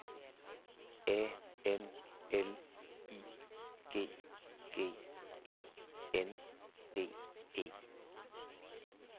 A N L I G G E N D E